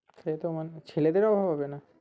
সে তো মানে ছেলেদেরও অভাব হবে না